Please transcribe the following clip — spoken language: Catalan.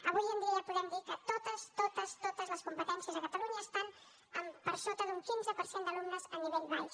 avui en dia ja podem dir que totes totes totes les competències a catalunya estan per sota d’un quinze per cent d’alumnes a nivell baix